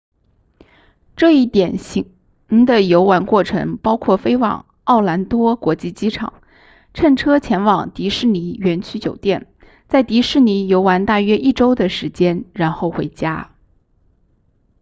这一典型的游玩过程包括飞往奥兰多国际机场乘车前往迪士尼园区酒店在迪士尼游玩大约一周的时间然后回家